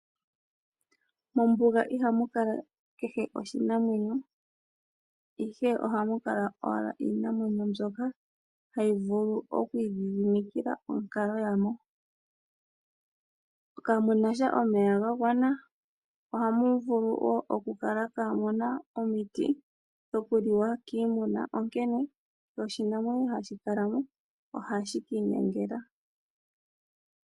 Mombuga ihamu kala kehe oshinamwenyo, ihe ohamu kala owala iinamwenyo mbyoka hayi vulu okwiidhidhimikila onkalo ya mo. Kamuna sha omeya ga gwana mo ohamu vulu oku kala kaamuna omiti dhoku liwa kiimuna, onkene noshinamwenyo hashi kala mo ohashi kiinyangela.